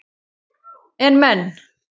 En menn